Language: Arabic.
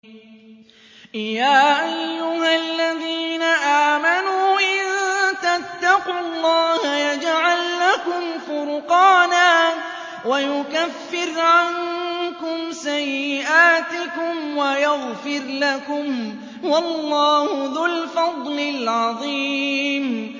يَا أَيُّهَا الَّذِينَ آمَنُوا إِن تَتَّقُوا اللَّهَ يَجْعَل لَّكُمْ فُرْقَانًا وَيُكَفِّرْ عَنكُمْ سَيِّئَاتِكُمْ وَيَغْفِرْ لَكُمْ ۗ وَاللَّهُ ذُو الْفَضْلِ الْعَظِيمِ